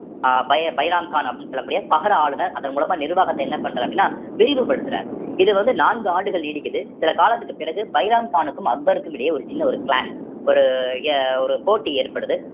அஹ் பை~ பைராம்கான் அப்படின்னு சொல்லக்கூடிய பகர ஆளுநர் அதன் மூலமா நிர்வாகத்தை என்ன பண்றார் அப்படின்னா விரிவுபடுத்துறார் இது வந்து நான்கு ஆண்டுகள் நீடிக்குது சில காலத்துக்கு பிறகு பைராம்கானுக்கும் அக்பருக்கும் இடையே ஒரு சின்ன ஒரு clash ஒரு எ~ ஒரு போட்டி ஏற்படுது